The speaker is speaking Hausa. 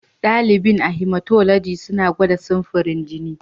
Dalibin a Hematology suna gwada samfurin jini.